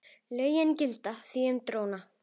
Lögin gilda því um dróna.